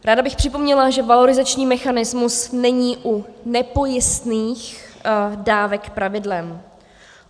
Ráda bych připomněla, že valorizační mechanismus není u nepojistných dávek pravidlem.